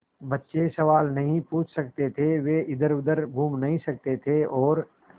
बच्चे सवाल नहीं पूछ सकते थे वे इधरउधर घूम नहीं सकते थे और